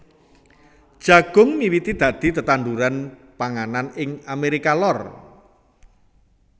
Jagung miwiti dadi tetanduran panganan ing Amérika Lor